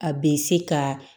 A bɛ se ka